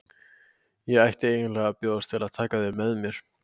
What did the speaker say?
Ég ætti eiginlega að bjóðast til að taka þau að mér.